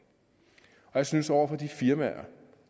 jeg synes over for de firmaer